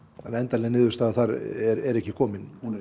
að endanleg niðurstaða þar er ekki komin hún er